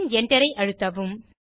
பின் Enter ஐ அழுத்தவும்